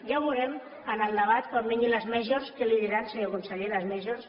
ja ho veurem en el debat quan vinguin les majors què li diran senyor conseller les majors